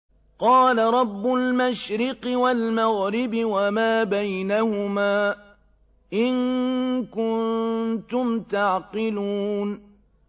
قَالَ رَبُّ الْمَشْرِقِ وَالْمَغْرِبِ وَمَا بَيْنَهُمَا ۖ إِن كُنتُمْ تَعْقِلُونَ